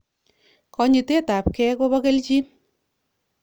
Konyitet tab gei koba keljin